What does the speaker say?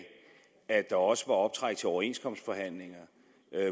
at der også var optræk til overenskomstforhandlinger